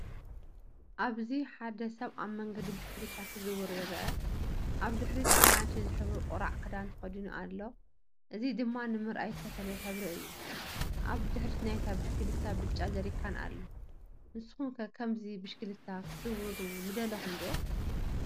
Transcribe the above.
ኣብዚ ሓደ ሰብ ኣብ መንገዲ ብሽክለታ ክዘውር ይርአ። ኣብ ድሕሪት ኣራንሺ ዝሕብሩ ቁራዕ ክዳን ተኸዲኑ ኣሎ፡ እዚ ድማ ንምርኣይ ዝተፈለየ ሕብሪ እዩ። ኣብ ድሕሪት ናይታ ብሽክለታ ብጫ ጀሪካን ኣሎ። ንስኩም ከ ከምዚ ብሽክለታ ክትዝውሩ ምደለኩም ዶ?